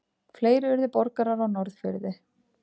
Fleiri urðu borgarar á Norðfirði.